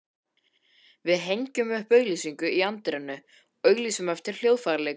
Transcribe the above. Við hengjum upp auglýsingu í anddyrinu, auglýsum eftir hljóðfæraleikurum.